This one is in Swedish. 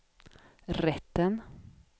rätten